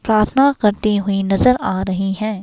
प्रार्थना करती हुई नजर आ रही है।